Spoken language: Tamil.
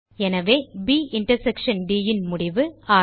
எனவே ப் இன்டர்செக்ஷன் ட் ன் முடிவு 6